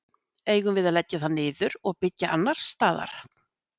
Eigum við að leggja það niður og byggja annars staðar?